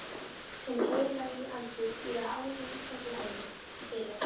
Hinn Heilagi Andi býr að hálfu í hverju höfði, byrjaði